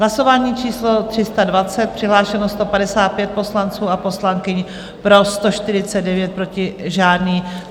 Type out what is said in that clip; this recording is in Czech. Hlasování číslo 320, přihlášeno 155 poslanců a poslankyň, pro 149, proti žádný.